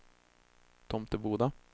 Tomteboda